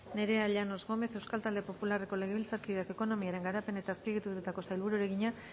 nerea llanos gómez euskal talde popularreko legebiltzarkideak ekonomiaren garapen eta azpiegituretako sailburuari egina